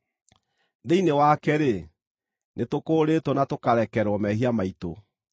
thĩinĩ wake-rĩ, nĩtũkũũrĩtwo na tũkarekerwo mehia maitũ.